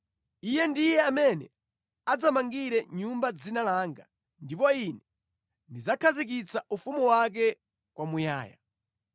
Iye ndiye amene adzamangire nyumba Dzina langa, ndipo Ine ndidzakhazikitsa ufumu wake kwamuyaya.